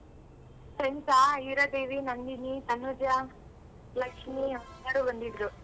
Friends ಆ ಹೀರಾದೇವಿ, ನಂದಿನಿ, ತನುಜ, ಲಕ್ಷ್ಮಿ ಎಲ್ಲಾರು ಬಂದಿದ್ರು.